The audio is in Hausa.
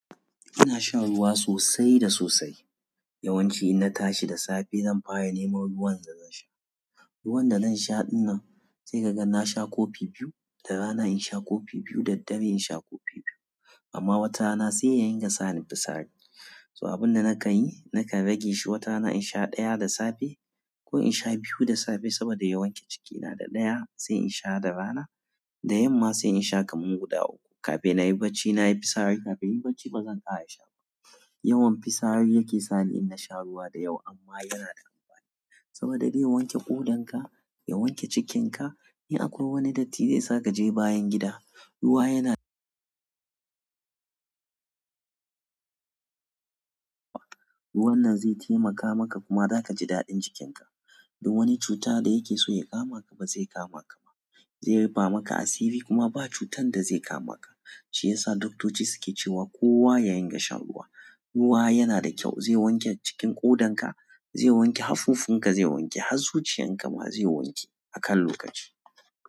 Ina sha ruwa sosai da sosai. Yawanci inna tashi da safe zan fara nemo ruwan da zan sha. Ruwan da zan sha in nan sai kaga na sha kofi biyu da rana in sha kofi biyu da dare in sha kofi biyu amma wata rana sai ya ringa sa ni fitsari. Saboda abin da naka yi naka rage shi wata na in sha ɗaya da safe ko in sha biyu da safe saboda ya wanci cikina da ɗaya sai in sha da rana da yamma sai in sha kaman guda uku. Kafin na yi bacci na yi fitsari. Kafin in yi bacci bazan ƙara sha ba. Yawan fitsari yake sa ni in sha ruwa da yawa amma yana da amfani saboda dai wanke ƙodan ka, ya wanke cikin ka. In akwai wani datti zai sa ka je bayan gida ruwa yana ruwan nan zai taimaka maka kuma zaka ji daɗin cikin ka. Da wani cuta da yake so ya kama ka ba zai kama ka ba. Zai rufa maka asiri kuma ba cutan da zai kama ka. Shi yasa doktoci suke cewa kowa ya ringa shan ruwa. Ruwa yana da kyau zai wanke cikin ƙodan ka, zai wanke haffofin ka zai wanke, har zuciyan ka ma zai wanke a kan lokaci.